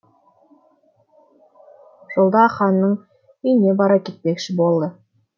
жолда ханның үйіне бара кетпекші болды